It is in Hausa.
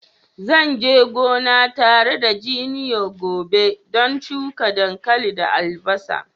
Zan je gona tare da junior gobe don shuka dankali da albasa.